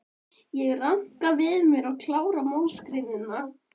Ég ranka við mér og klára málsgreinina.